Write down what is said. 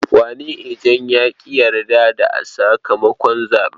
Wani ejen ya ƙi yarda da sakamakon zaɓen.